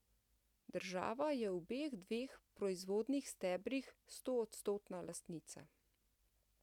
Država je v obeh dveh proizvodnih stebrih stoodstotna lastnica.